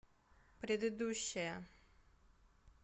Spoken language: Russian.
предыдущая